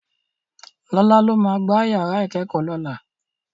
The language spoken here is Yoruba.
Lọlá ló máa gbá yàrá ìkẹ́kọ̀ọ́ lọ́la.